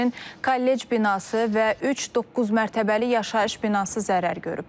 Həmçinin kollec binası və üç doqquz mərtəbəli yaşayış binası zərər görüb.